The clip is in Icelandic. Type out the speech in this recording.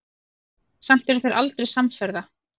Samt eru þeir aldrei samferða.